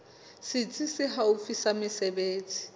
setsi se haufi sa mesebetsi